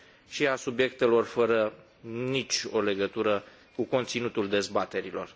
și a subiectelor fără nicio legătură cu conținutul dezbaterilor.